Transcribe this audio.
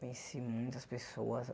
Conheci muitas pessoas.